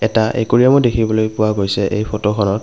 এটা একুৰিয়ামো দেখিবলৈ পোৱা গৈছে এই ফটোখনত।